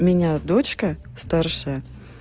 у меня дочка старшая